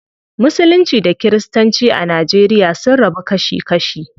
Musulunci da kiristanci a nigeria sun rabu kashi kashi.